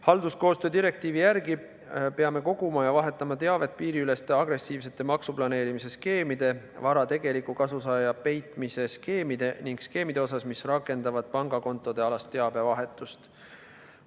Halduskoostöö direktiivi järgi peame koguma ja vahetama teavet piiriüleste agressiivsete maksuplaneerimise skeemide, vara tegeliku kasusaaja peitmise skeemide ning skeemide kohta, mis raskendavad pangakontodealast teabevahetust.